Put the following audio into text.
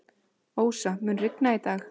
Ósa, mun rigna í dag?